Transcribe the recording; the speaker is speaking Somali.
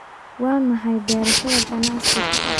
Waa maxay beerashada ganacsigu?